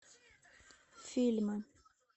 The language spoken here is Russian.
фильмы